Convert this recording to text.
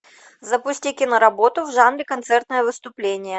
запусти киноработу в жанре концертное выступление